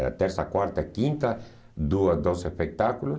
Era terça, quarta, quinta, duas, doze espectáculos.